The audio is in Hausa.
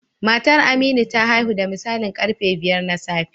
Matar Aminu ta haihu da misalin karfe biyar na safe